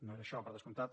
no era això per descomptat